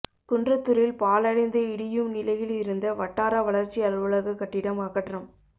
குன்றத்தூரில் பாழடைந்து இடியும் நிலையில் இருந்த வட்டார வளர்ச்சி அலுவலக கட்டிடம் அகற்றம்